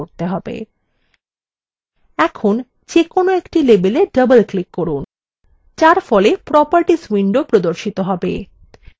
এখন যেকোনো একটি labelwe double click করুন যার ফলে properties window প্রদর্শন হবে